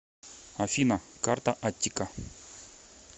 афина карта аттика